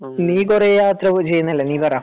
നീ കൊറേ യാത്ര ചെയ്യുന്നതല്ലേ നീ പറ